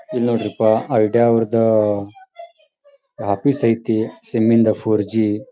ಇಲ್ನೋಡ್ರಿಪ್ಪ Idea ಅವ್ರದ್ದ office ಐತಿ SIM ಇಂದ ಫ಼ೋರ್ಜಿ .